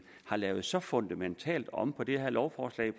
har lavet så fundamentalt om på det lovforslag